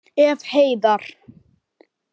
Ef. heiðar